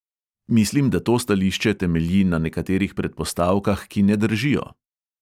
Mislim, da to stališče temelji na nekaterih predpostavkah, ki ne držijo.